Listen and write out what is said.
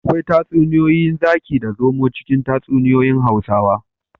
Akwai tatsuniyar zaki da zomo cikin tatsuniyoyin hausawa